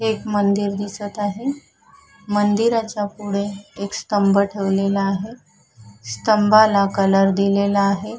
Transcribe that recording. एक मंदिर दिसत आहे मंदिराच्या पुढे एक स्तंभ ठेवलेला आहे स्तंभाला कलर दिलेला आहे.